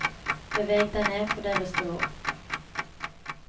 Beveg deg ned på deres nivå.